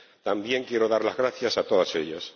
también quiero dar las gracias a todas ellas.